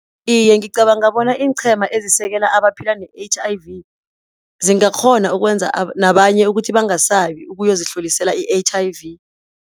Iye, ngicabanga bona iinqhema ezisekela abaphila ne-H_I_V zingakghona ukwenza nabanye ukuthi bangasabi ukuyozihlolisela i-H_I_V.